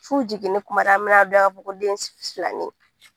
F'u jiginneni kuma de an bɛn'a dɔn ko den filanin ye